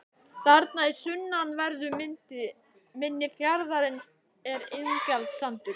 Þarna í sunnanverðu mynni fjarðarins er Ingjaldssandur.